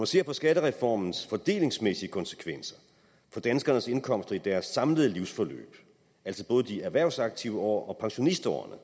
ser på skattereformens fordelingsmæssige konsekvenser for danskernes indkomster i deres samlede livsforløb altså både de erhvervsaktive år og pensionistårene